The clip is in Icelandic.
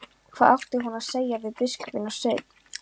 Hvað átti hún að segja við biskupinn og Svein?